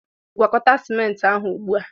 Gwakọta ciment ahụ ugbu a!